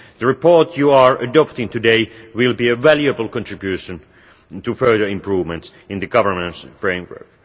The report you are adopting today will be a valuable contribution to further improvements in the governance framework.